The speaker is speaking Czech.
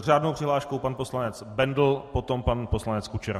S řádnou přihláškou pan poslanec Bendl, potom pan poslanec Kučera.